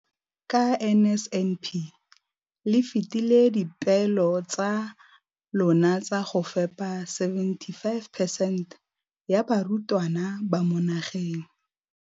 Ka NSNP le fetile dipeelo tsa lona tsa go fepa masome a supa le botlhano a diperesente ya barutwana ba mo nageng.